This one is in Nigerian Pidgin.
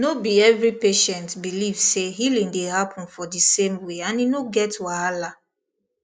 no be every patient believe say healing dey happen for di same way and e no get wahala